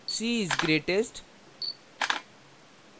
c is greatest